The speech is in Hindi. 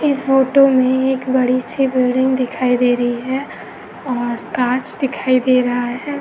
इस फोटो में हमें एक बड़ी- सी बिल्डिंग दिखाई दे रही है और काँच दिखाई दे रहा हैं।